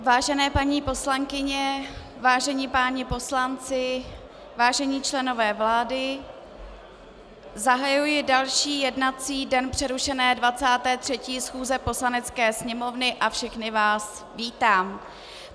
Vážené paní poslankyně, vážení páni poslanci, vážení členové vlády, zahajuji další jednací den přerušené 23. schůze Poslanecké sněmovny a všechny vás vítám.